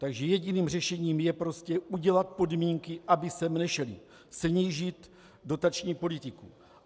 Takže jediným řešením je prostě udělat podmínky, aby sem nešli, snížit dotační politiku.